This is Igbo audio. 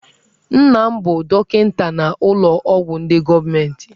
Nna m bụ dọkịta n'ụlọ ọgwụ ndị gọọmentị.